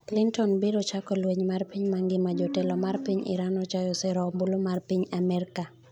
Clinton biro chako lweny mar piny mangima jatelo mar piny Iran ochayo sero ombulu ma piny Amerka